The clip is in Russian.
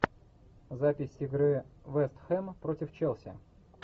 запись игры вест хэм против челси